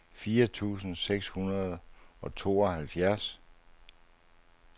fire tusind seks hundrede og tooghalvfjerds